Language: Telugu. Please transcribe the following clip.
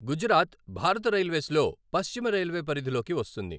గుజరాత్ భారత రైల్వేస్లో పశ్చిమ రైల్వే పరిధిలోకి వస్తుంది.